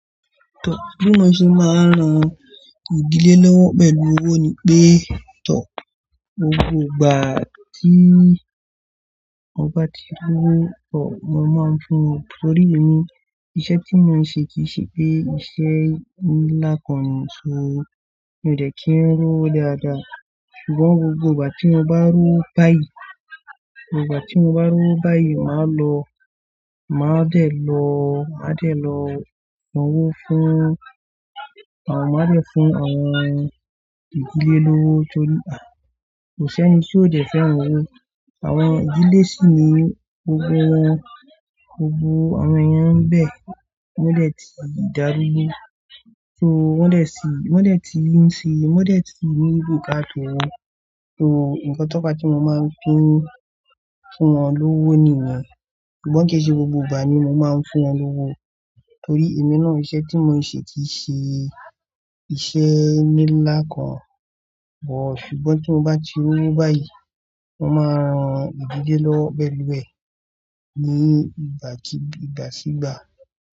Tọ́, bí mo ṣe máa ń ran ìdílé lọ́wọ́ pẹ̀lú owó ni pé, tọ́, gbogbo ìgbà tí mo bá ti lọ́wo, tọ́ mo máa ń fún wọn nítorí èmi iṣẹ́ tí mo ń ṣe kì í ṣe pé iṣẹ́ ńlá kan ni. So, mi ò dẹ́ kí n rọ́ owo dáadáa. Ṣùgbọ́n gbogbo ìgbà tí mo bá rọ́ owo báyìí, ìgbà tí mo bá rọ́ owo báyìí máa lọ, máa dẹ̀ lọ, máa dẹ̀ lọ ranwó fún, àwọn máa dẹ̀ fún àwọn ìdílé lówó torí kò sẹ́ni tí ò dẹ́ fẹ́ ran owó. Àwọn ìdílé sì ni gbogbo wọn, gbogbo àwọn èèyàn ń bẹ̀, wọ́n dẹ̀ ti darúgbó. So wọ́n dẹ̀ sì, wọ́n dẹ̀ ti ń ṣe, wọ́n dẹ̀ ti ní buká ta owọ́. So, nkan to wọ́n bá tí mo máa ń fin, fún wọn lówó nìyẹn. Ṣùgbọ́n kì í ṣe gbogbo ìgbà ni mo máa ń fún wọn lówó torí èmi náà iṣẹ́ tí mo ń ṣe kì í ṣe iṣẹ́ ńilá kan bọ̀. Ṣùgbọ́n tí mo bá ti rọ́ owo báyìí, mo máa ran ìdílé lọ́wọ́ pẹ̀lú ẹ̀ ní ìgbà tí, ìgbà sí ìgbà.